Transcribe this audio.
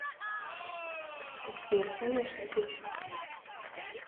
сбер конечно детка